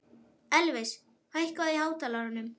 Elvis, hækkaðu í hátalaranum.